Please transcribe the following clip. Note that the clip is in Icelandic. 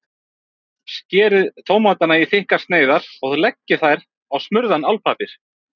Skerið tómatana í þykkar sneiðar og leggið þær á smurðan álpappír.